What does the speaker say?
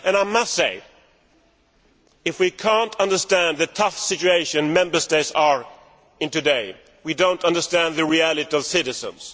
I must say that if we cannot understand the tough situation Member States are in today, we do not understand the reality for citizens.